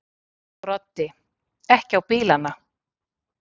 Broddi: Ekki á bílana?